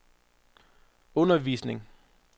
undervisning